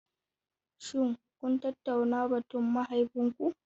Shin kun tattauna batun da mahaifinku?